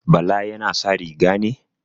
Bala yana sa riga ne?